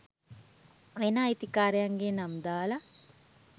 වෙන අයිතිකාරයන්ගේ නම් දාලා